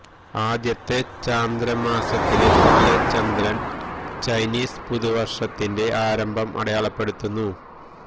ആദ്യത്തെ ചാന്ദ്ര മാസത്തിലെ പുതിയ ചന്ദ്രൻ ചൈനീസ് പുതുവർഷത്തിന്റെ ആരംഭം അടയാളപ്പെടുത്തുന്നു